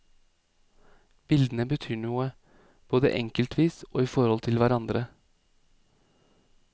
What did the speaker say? Bildene betyr noe, både enkeltvis og i forhold til hverandre.